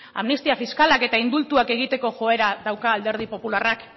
amnistia fiskalak eta indultuak egiteko joera dauka alderdi popularrak